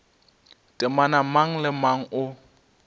temana mang le mang o